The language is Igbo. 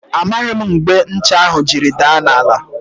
Amaghị m mgbe ncha ahụ jiri daa n' ala.